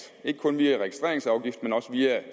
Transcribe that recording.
ikke kun via registreringsafgift men også via